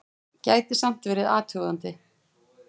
Gæti samt verið athugandi!